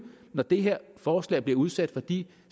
når det her forslag bliver udsat for de